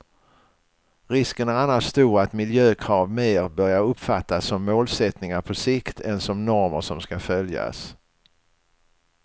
Risken är annars stor att miljökrav mer börjar uppfattas som målsättningar på sikt än som normer som ska följas.